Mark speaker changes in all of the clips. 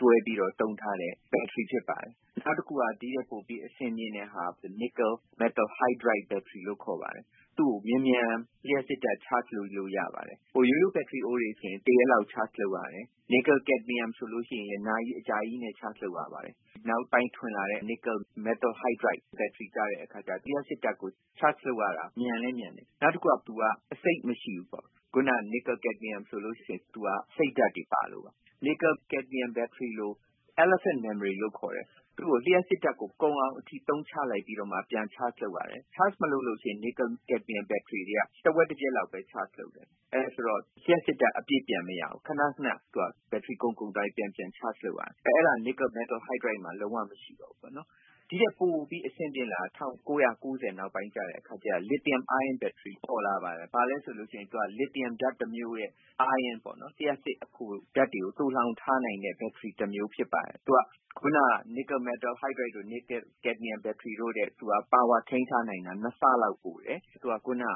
Speaker 1: ကို တွဲပြီး သုံးထားတဲ့ ဘက်ထရီ ဖြစ်ပါတယ်။” “နောက်တခုက ဒီ့ထက် ပိုပြီး အဆင့်မြင့်တဲ့ဟာက nickel metal hydride နစ်ကယ်- မက်တယ် ဟိုက်ဒရိုက် NiMH ဘက်ထရီလို့ ခေါ်ပါတယ်။ သူ့ကို လျှပ်စစ်ဓါတ် မြန်မြန် charge လုပ်လို့ ရပါတယ်။ ရိုးရိုး ဘက်ထရီအိုးတွေ ဆိုရင် တရက်လောက် charge လုပ်ယူရတယ်။ နီကယ်- ကက်ဒမီယမ် NiCd ဆိုရင်လည်း နာရီ အကြာကြီး charge လုပ်ယူရပါတယ်။ နောက်ပိုင်း ထွင်လာတဲ့ နစ်ကယ် မက်တယ် ဟိုက်ဒရိုက် NiMH ဘက်ထရီကျတော့ လျှပ်စစ်ဓါတ်ကို charge လုပ်ရတာ မြန်လည်း မြန်တယ်။ နောက်တခုက သူက အဆိပ် မရှိဘူး။ စောစောက နစ်ကယ်- ကက်ဒမီယမ် ဆ ိုရင် သူက အဆိပ်ဓါတ်တွေ ပါပါတယ်။” “နစ်ကယ် ကက်ဒမီယမ် ဘက်ထရီကို elephant memory လို့ ခေါ်ပါတယ်။ သူ့ကို ကုန်အောင် သုံးလိုက်ပြီးမှ ပြန် charge လုပ်ရပါတယ်။ charge မလုပ်ရင် ဒီ NiCd ဘက်ထရီ တွေက တဝက်တပျက် လောက်ပဲ charge လုပ်တယ်။ အဲဒါဆိုတော့ လျှပ်စစ်ဓါတ် အပြည့် ပြန်မရဘူး။ နောက်ပြီး သူက ခဏခဏ ဘက်ထရီ ကုန်ကုန် သွားပြီး ပြန်ပြန် charge လုပ်ရပါတယ်။ အဲဒါမျိုး NiMH မှာ လုံးဝ မရှိပါဘူး။ ” “ဒီ့ထက် ပိုပြီး အဆင့်မြင့်လာတာက ၁၉ ၉ ၀ နောက်ပိုင်း ကျတော့ လစ်သီယမ် အိုင်းယွန်း ဘက်ထရီ ပေါ်လာပါတယ်။ အဲဒါ ဘာလည်း ဆိုတော့၊ သူက လစ်သီယမ် ဓါတ်တမျိူးရဲ့ အိုင်းယွန်းပါ။ လျှပ်စစ် အဖိုဓါတ် တွေကို သိုလှောင် ထားနိုင်တဲ့ ဘက်ထရီ တမျိုး ဖြစ်ပါတယ်။ သူက ခုန NiMH တို့ NiCd ဘက်ထရီတို့ထက် ပါဝါကို ထိမ်းထားနိုင်တာ ၂ ဆလောက် ပိုပါတယ်။ ဒါ့အပြင် သူ့မှာ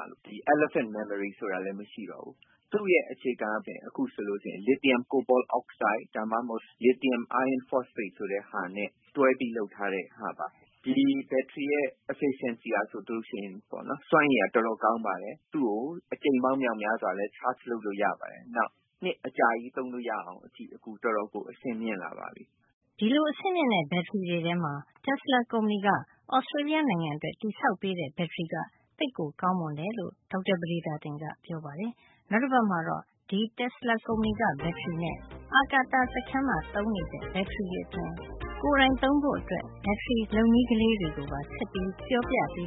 Speaker 1: elephant memory ဆိုတာလည်း မရှိတော့ဘူူး။ သူ့ရဲ့ အခြေခံပဲ အခုဆို လစ်သီယမ် - ကိုဘော့အောက်ဆိုဒ် ဒါမှမဟုတ် လစ်သီယမ် အိုင်းယွန်း ဖေါ့စဖိတ် ဆိုတာနဲ့တွဲပြီး လုပ် ထားတဲ့ ဟာပါ။ ဒီဘက်ထရီရဲ့ စွမ်းရည် efficiency က ဆိုရင် တော်တော် ကောင်းပါတယ်။ သူ့ကို အကြိမ်ပေါင်း မြောက်များစွာလည်း charge လုပ်လို့ ရပါတယ်။ နောက် နှစ် အကြာကြီး သုံးလို့ရအောင် လုပ်တာ အခု တော်တော် အဆင့်မြင့်လာပါပြီ
Speaker 2: ။” ဒီလို အဆင့်မြင့်တဲ့ ဘက်ထရီတွေ ထဲမှာ Tesla ကုမ္ဗဏီက Australia နိုင်ငံအတွက် တည်ဆောက်ပေးတဲ့ ဘက်ထရီက သိပ်ကို ကောင်းမွန်တယ်လို့လည်း ဒေါက်တာ ပဒေသာတင်က ပြောပါတယ်။ နောက်တပတ်မှာတော့ ဒီ Tesla ကုမ္ဗဏီက ဘက်ထရီ အပြင် အပြည်ပြည် ဆိုင်ရာ အာကာသစခန်းမှာ သုံးနေတဲ့ ဘက်ထရီတွေနဲ့ ကိုယ်တိုင်သုံးဖို့ ဘက်ထရီ လုပ်နည်းလေးတွေကိုပါ ဆက်ပြီး ပြောပြပေ